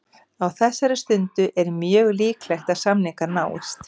Á þessari stundu er mjög líklegt að samningar náist.